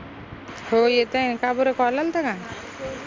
हो येत आय काबर call अल्ता का?